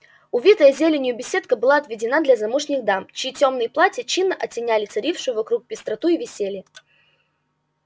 увитая зеленью беседка была отведена для замужних дам чьи тёмные платья чинно оттеняли царившую вокруг пестроту и веселье